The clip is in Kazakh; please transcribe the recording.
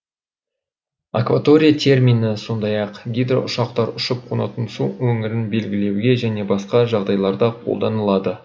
акватория термині сондай ақ гидроұшақтар ұшып қонатын су өңірін белгілеуге және басқа жағдайларда колданылады